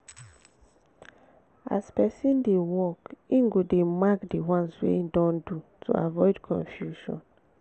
as person dey work im go dey mark di ones wey im don do to avoid confusion